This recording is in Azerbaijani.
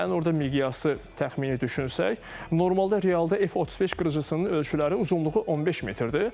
Yəni orda miqyası təxmini düşünsək, normalda realda F-35 qırıcısının ölçüləri, uzunluğu 15 metrdir.